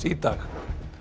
í dag